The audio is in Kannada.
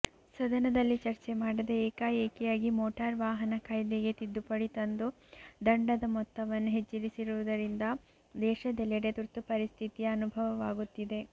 ಸದನದಲ್ಲಿ ಚರ್ಚೆ ಮಾಡದೆ ಏಕಾಏಕಿಯಾಗಿ ಮೋಟಾರು ವಾಹನ ಕಾಯ್ದೆಗೆ ತಿದ್ದುಪಡಿ ತಂದು ದಂಡದ ಮೊತ್ತವನ್ನು ಹೆಚ್ಚಿಸಿರುವುದರಿಂದ ದೇಶದೆಲ್ಲೆಡೆ ತುರ್ತುಪರಿಸ್ಥಿಯ ಅನುಭವವಾಗುತ್ತಿದೆ